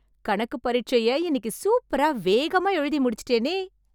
கணக்கு பரிட்சைய இன்னிக்கு சூப்பரா வேகமா எழுதி முடிச்சிட்டேனே...